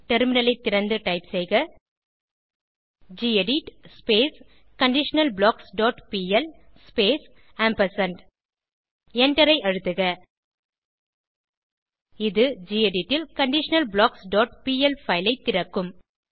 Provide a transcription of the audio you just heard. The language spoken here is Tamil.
டெர்மினலைத் திறந்து டைப் செய்க gedit conditional blocks dot PL space எண்டரை அழுத்துக இது கெடிட் ல் conditionalblocksபிஎல் பைல் ஐ திறக்கும்